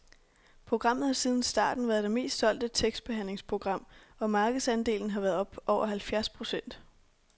Programmet har siden starten været det mest solgte tekstbehandlingsprogram og markedsandelen har været oppe over halvfjerds procent.